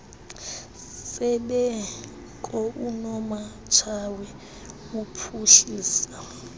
sembeko unomatshawe uphuhlisa